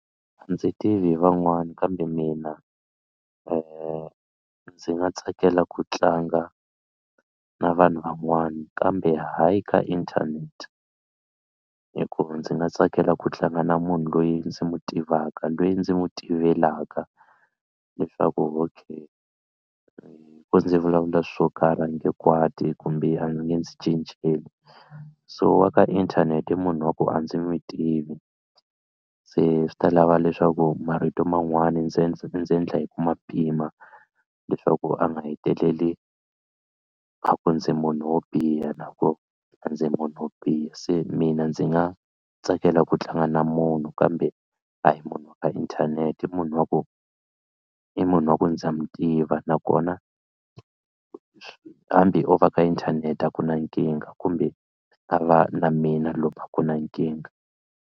A ndzi tivi hi van'wani kambe mina ndzi nga tsakela ku tlanga na vanhu van'wana kambe hayi ka inthanete hikuva ndzi nga tsakela ku tlanga na munhu loyi ndzi mu tivaka loyi ndzi n'wi tivelaka leswaku okay hi ku ndzi vulavula swo karhi a nge kwati kumbe a ndzi nge ndzi cinceli so wa ka inthanete i munhu wa ku a ndzi n'wi tivi se swi ta lava leswaku marito man'wana ndzi ndzi ndzi endla hi ku ma pima leswaku a nga heteleli a ku ndzi munhu wo biha na ko a ndzi munhu wo biha se mina ndzi nga tsakela ku tlanga na munhu kambe a hi munhu wa ka inthanete i munhu wa ku i munhu wa ku ndza mu tiva nakona hambi o va ka inthanete a ku na nkingha kumbe a va na mina lomu a ku na nkingha.